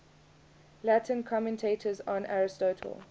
latin commentators on aristotle